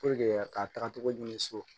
ka taga togo ɲini so